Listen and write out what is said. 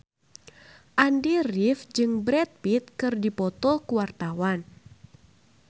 Andy rif jeung Brad Pitt keur dipoto ku wartawan